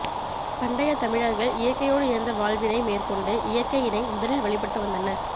பண்டையத் தமிழர்கள் இயற்கையோடு இணைந்த வாழ்வினை மேற்கொண்டு இயற்கையினை முதலில் வழிபட்டு வந்தனர்